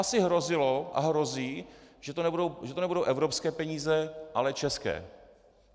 Asi hrozilo a hrozí, že to nebudou evropské peníze, ale české.